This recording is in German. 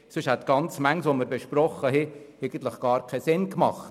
Sonst hätte einiges, was wir besprochen haben, keinen Sinn gemacht.